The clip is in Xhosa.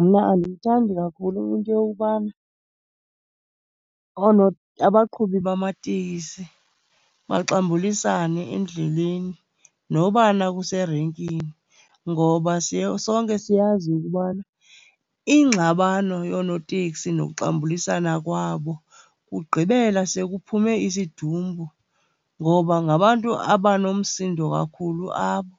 Mna andiyithandi kakhulu into yokubana abaqhubi bamatekisi baxambulisane endleleni, noba na kuserenkini. Ngoba sonke siyazi ukubana ingxabano yoonoteksi nokuxambulisana kwabo kugqibela sekuphume isidumbu, ngoba ngabantu abanomsindo kakhulu abo.